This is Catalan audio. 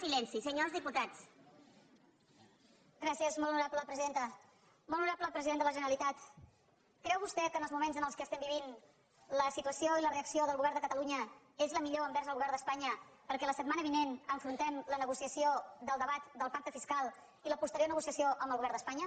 molt honorable president de la generalitat creu vostè que en els moments en què vivim la situació i la reacció del govern de catalunya és la millor envers el govern d’espanya perquè la setmana vinent afrontem la negociació del debat del pacte fiscal i la posterior negociació amb el govern d’espanya